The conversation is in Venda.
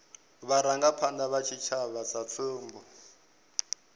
vharangaphanda vha tshitshavha sa tsumbo